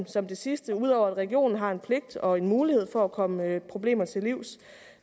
som det sidste at ud over at regionen har en pligt og en mulighed for at komme problemer til livs